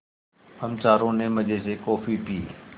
हम चारों ने मज़े से कॉफ़ी पी